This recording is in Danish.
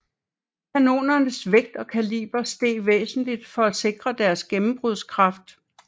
Kanonernes vægt og kaliber steg væsentligt for at sikre deres gennembrudskraft